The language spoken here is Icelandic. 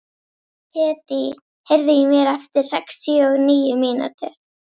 Hedí, heyrðu í mér eftir sextíu og níu mínútur.